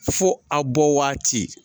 Fo a bɔ waati